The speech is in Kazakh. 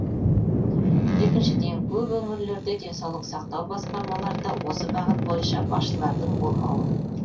екіншіден көп өңірлерде денсаулық сақтау басқармаларында осы бағыт бойынша басшылардың болмауы